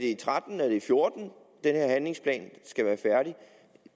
den her handlingsplan skal være færdig